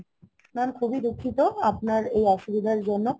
Mam খুবই দুঃখিত আপনার এই অসুবিধের জন্য